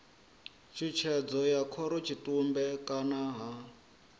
tshutshedzo ya khorotshitumbe kana ha